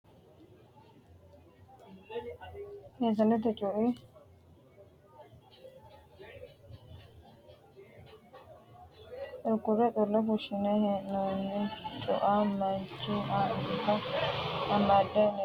Meesanete cua kurkurre xullo fushshine hee'noonni. cua Manchu anga amade leellanno. Cu"u sholoolli raga waajjoho umiodo kolishsho. Waajju qunxi wolootta haqqubba leeltanno.